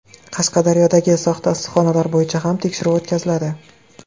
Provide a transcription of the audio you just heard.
Qashqadaryodagi soxta issiqxonalar bo‘yicha ham tekshiruv o‘tkaziladi.